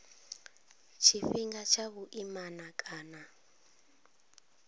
tshifhinga tsha vhuimana na kana